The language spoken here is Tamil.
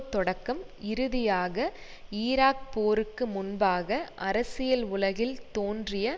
தொடக்கம் இறுதியாக ஈராக் போருக்கு முன்பாக அரசியல் உலகில் தோன்றிய